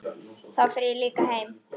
Þá fer ég líka heim